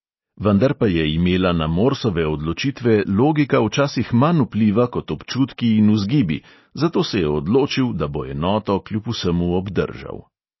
Vendar pa je imela na morsove odločitve logika včasih manj vpliva kot občutki in vzgibi, zato se je odločil, da bo enoto kljub vsemu obdržal.